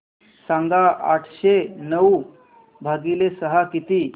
सांगा आठशे नऊ भागीले सहा किती